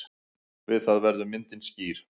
Við það verður myndin skýr.